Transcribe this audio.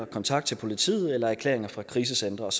kontakt til politiet eller erklæringer fra krisecentre og